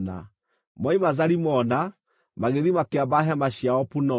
Moima Zalimona, magĩthiĩ makĩamba hema ciao Punoni.